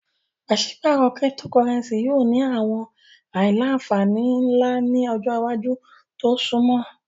Paṣipaarọ Cyptocurrency yoo ni awọn aila-nfani nla ni ọjọ iwaju to sunmọ